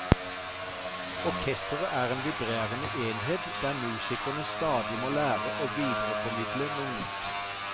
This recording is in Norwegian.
Orkestret er en vibrerende enhet der musikerne stadig må lære og videreformidle noe nytt.